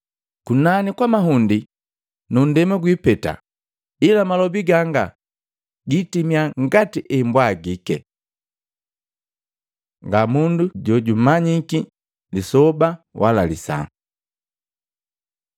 Kunani kwa mahundi nu nndema gwipeta, ila malobi gangu gitimia ngati embwagike. Nga mundu jojumanyiki lisoba wala lisaa Matei 24:36-44